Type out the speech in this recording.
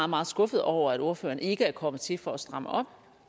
meget skuffet over at ordføreren ikke er kommet til for at stramme op